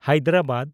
Hyderabad